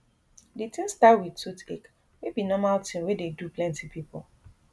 di tin start wit toothache wey be normal tin wey dey do plenti pipo